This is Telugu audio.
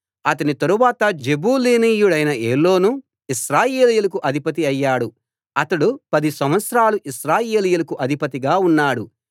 అతని తరువాత జెబూలూనీయుడైన ఏలోను ఇశ్రాయేలీయులకు అధిపతి అయ్యాడు అతడు పది సంవత్సరాలు ఇశ్రాయేలీయులకు అధిపతిగా ఉన్నాడు